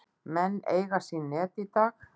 Menn eiga sín net í dag.